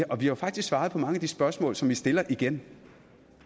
og vi har faktisk svaret på mange af de spørgsmål som man stiller igen